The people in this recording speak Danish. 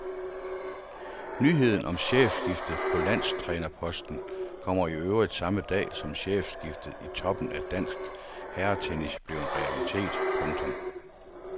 Nyheden om chefskiftet på landstrænerposten kommer i øvrigt samme dag som chefskiftet i toppen af dansk herretennis blev en realitet. punktum